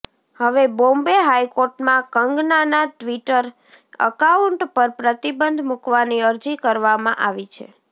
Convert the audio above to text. હવે બોમ્બે હાઈકોર્ટમાં કંગનાના ટ્વિટર એકાઉન્ટ પર પ્રતિબંધ મૂકવાની અરજી કરવામાં આવી છે